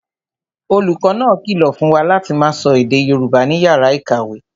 Olùkọ́ náà kìlọ̀ fún wa láti máa sọ èdè Yorùbá ní yàrá ìkàwé